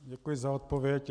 Děkuji za odpověď.